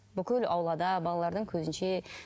бүкіл аулада балалардың көзінше